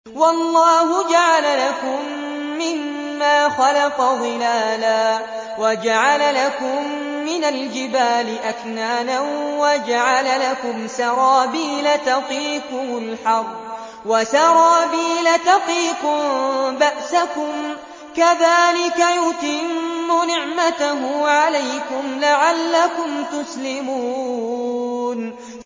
وَاللَّهُ جَعَلَ لَكُم مِّمَّا خَلَقَ ظِلَالًا وَجَعَلَ لَكُم مِّنَ الْجِبَالِ أَكْنَانًا وَجَعَلَ لَكُمْ سَرَابِيلَ تَقِيكُمُ الْحَرَّ وَسَرَابِيلَ تَقِيكُم بَأْسَكُمْ ۚ كَذَٰلِكَ يُتِمُّ نِعْمَتَهُ عَلَيْكُمْ لَعَلَّكُمْ تُسْلِمُونَ